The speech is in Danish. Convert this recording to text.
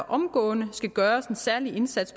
omgående skal gøres en særlig indsats